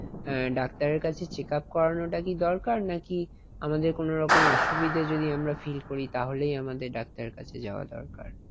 আহ ডাক্তারের কাছে check up করানো টা দরকার নাকি। আমাদের কোনরকম অসুবিধা যদি আমরা feel করি তাহলে আমাদের ডাক্তারের কাছে যাওয়া দরকার।